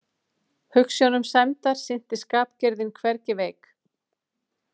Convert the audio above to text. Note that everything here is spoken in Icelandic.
Hugsjónum sæmdar sinnti skapgerðin hvergi veik.